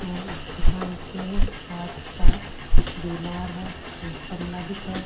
और उस दुकान पे कांच का दिवार है एक गमला दिख।